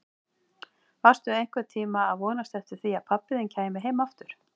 Varstu einhvern tíma að vonast eftir því að pabbi þinn kæmi heim aftur?